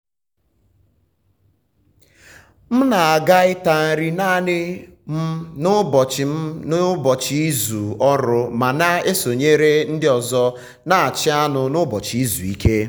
m na-aga ịta nri naanị m n’ụbọchị m n’ụbọchị izu ọrụ ma na-esonyere ndị ọzọ na-achị anụ n’ụbọchị izu ike.